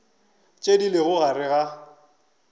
tše di lego gare ga